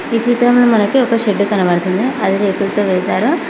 ఈ చిత్రంలో మనకి ఒక షెడ్ కనపడుతుంది అది రేకులతో వేశారు.